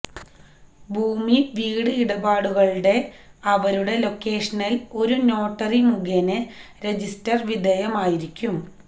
ഭൂമി വീട് ഇടപാടുകളുടെ അവരുടെ ലൊക്കേഷനിൽ ഒരു നോട്ടറി മുഖേന രജിസ്റ്റർ വിധേയമായിരിക്കും